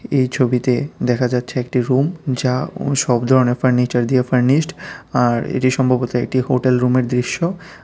এই ছবিতে দেখা যাচ্ছে একটি রুম যা ও সব ধরনের ফার্নিচার দিয়ে ফার্নিস্ট আর এটি সম্ভবত একটি হোটেল রুমের দৃশ্য।